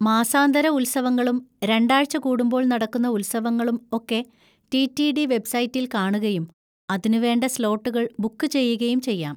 മാസാന്തര ഉത്സവങ്ങളും രണ്ടാഴ്ച കൂടുമ്പോൾ നടക്കുന്ന ഉത്സവങ്ങളും ഒക്കെ ടി. ടി. ഡി വെബ്സൈറ്റിൽ കാണുകയും അതിനുവേണ്ട സ്ലോട്ടുകൾ ബുക്ക് ചെയ്യുകയും ചെയ്യാം.